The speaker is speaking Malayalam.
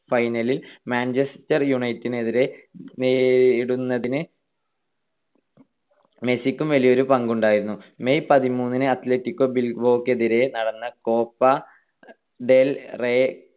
final ൽ മാഞ്ചസ്റ്റർ യുണൈറ്റഡിനെതിരെ നേരിടുന്നതിന് പ്രാപ്തരാക്കിയതിൽ മെസ്സിക്കും വലിയൊരു പങ്കുണ്ടായിരുന്നു. May പതിമൂന്നിന് അത്‌ലറ്റിക്കോ ബിൽബാവോക്കെതിരായി നടന്ന കോപ്പ ഡെൽ റേയ്